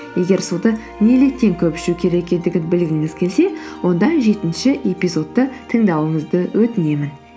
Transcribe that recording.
егер суды неліктен көп ішу керек екендігін білгіңіз келсе онда жетінші эпизодты тыңдауыңызды өтінемін